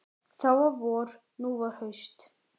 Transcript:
Þá var vor, nú var haust.